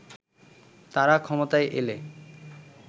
তারা ক্ষমতায় এলে